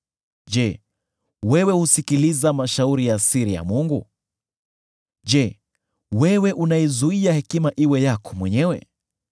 Je, wewe husikiliza mashauri ya siri ya Mungu? Je, wewe unaizuia hekima iwe yako mwenyewe?